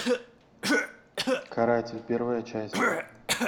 каратель первая часть